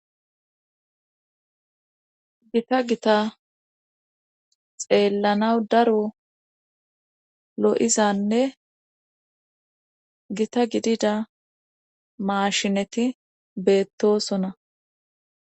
Gita gita xeellanaw daro lo'izanne gita gidida maashineti beettosona.